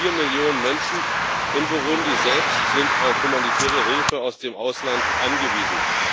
Fast vier Millionen Menschen in Burundi selbst sind auf humanitäre Hilfe aus dem Ausland angewiesen.